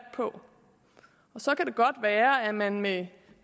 på og så kan det godt være at man med